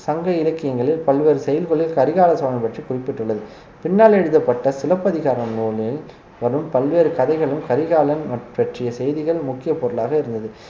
சங்க இலக்கியங்களில் பல்வேறு செய்யுள்களில் கரிகால சோழன் பற்றி குறிப்பிட்டுள்ளது பின்னாளில் எழுதப்பட்ட சிலப்பதிகாரம் நூலில் வரும் பல்வேறு கதைகளும் கரிகாலன் பற்றிய செய்திகள் முக்கிய பொருளாக இருந்தது